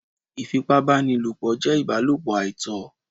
Ìfipá báni lòpọ̀ jé ìbálòpọ̀ àìtọ́